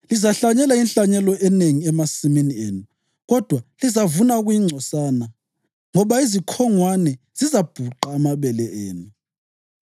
Lizahlanyela inhlanyelo enengi emasimini enu kodwa lizavuna okuyingcosana, ngoba izikhongwane zizabhuqa amabele enu.